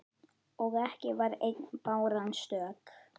Og ekki var ein báran stök.